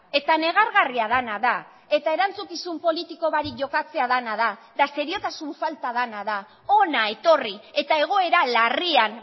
eta negargarria dena da eta erantzukizun politiko barik jokatzea dena da eta seriotasun falta dena da hona etorri eta egoera larrian